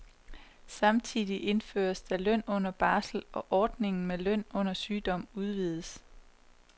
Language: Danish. Samtidig indføres der løn under barsel, og ordningen med løn under sygdom udvides.